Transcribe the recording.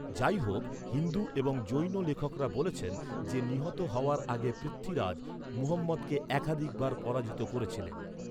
যাই হোক, হিন্দু এবং জৈন লেখকরা বলেছেন যে নিহত হওয়ার আগে পৃথ্বীরাজ, মুহম্মদকে একাধিকবার পরাজিত করেছিলেন।